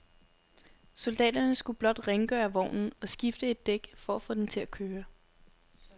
Soldaterne skulle blot rengøre vognen og skifte et dæk for at få den til at køre.